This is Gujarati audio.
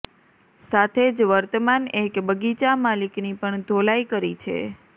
સાથે જ વર્તમાન એક બગીચા માલિકની પણ ધોલાઇ કરી છે